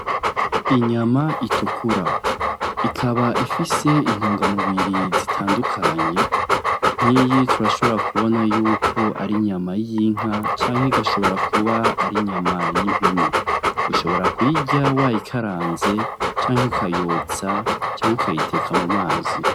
Inyama itukura. Ikaba ifise intungamubiri zitandukanye, nkiyi turashobora kubona yuko ari inyama y'inka canke igashobora kuba ari inyama y'impene. Ushobora kuyirya wayikaranze canke ukayotsa, canke ukayiteka mu mazi.